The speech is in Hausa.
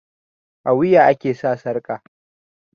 a wuya ake sa sarka